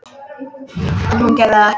En hún gerir það ekki.